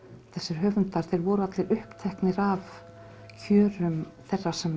þessir höfundar þeir voru allir uppteknir af kjörum þeirra sem